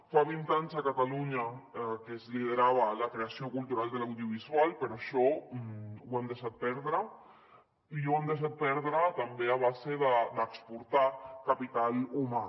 fa vint anys a catalunya que es liderava la creació cultural de l’audiovisual però això ho hem deixat perdre i ho hem deixat perdre també a base d’exportar capital humà